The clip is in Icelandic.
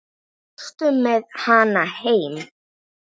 Fórstu með hana heim?